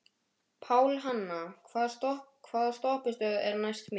Pálhanna, hvaða stoppistöð er næst mér?